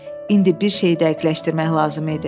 İndi bir şeyi dəqiqləşdirmək lazım idi.